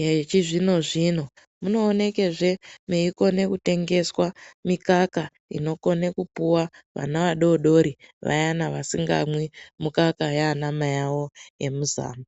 yechizvino zvino munoonekezve meikone kutengeswa mikaka inokone kupuwa vana vadodori vayani vasingamwi mukaka yanamai awo emuzamo.